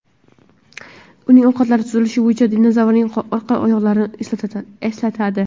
Uning oyoqlari tuzilishi bo‘yicha dinozavrning orqa oyoqlarini eslatadi.